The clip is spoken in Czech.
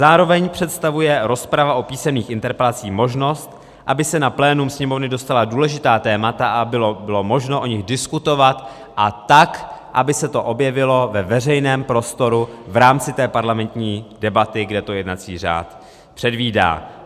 Zároveň představuje rozprava o písemných interpelacích možnost, aby se na plénum Sněmovny dostala důležitá témata a bylo možno o nich diskutovat, a tak, aby se to objevilo ve veřejném prostoru v rámci té parlamentní debaty, kde to jednací řád předvídá.